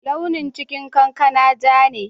Launin cikin kankana ja ne.